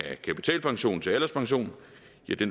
af kapitalpension til alderspension